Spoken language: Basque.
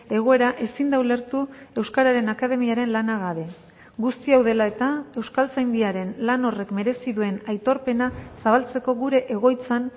egoera ezin da ulertu euskararen akademiaren lana gabe guzti hau dela eta euskaltzaindiaren lan horrek merezi duen aitorpena zabaltzeko gure egoitzan